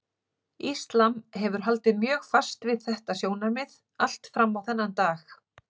Íslam hefur haldið mjög fast við þetta sjónarmið allt fram á þennan dag.